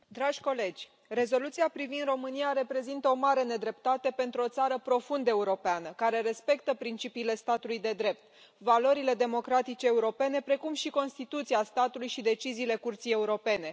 Doamna președintă, dragi colegi, rezoluția privind România reprezintă o mare nedreptate pentru o țară profund europeană, care respectă principiile statului de drept, valorile democratice europene, precum și Constituția statului și deciziile Curții Europene.